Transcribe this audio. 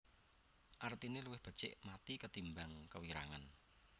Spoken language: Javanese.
Artine luwih becik mathi ketimbang kewirangan